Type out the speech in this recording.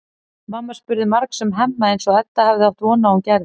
Mamma spurði margs um Hemma eins og Edda hafði átt von á að hún gerði.